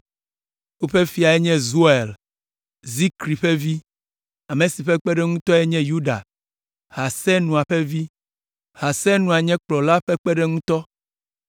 Woƒe fiae nye Yoel, Zikri ƒe vi, ame si ƒe kpeɖeŋutɔe nye Yuda, Hasenua ƒe vi. Hasenua nye kplɔla ƒe kpeɖeŋutɔ.